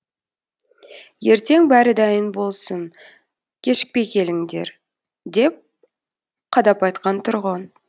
ертең бәрі дайын болсын кешікпей келіңдер деп қадап айтқан тұрғын